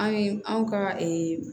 An ye anw ka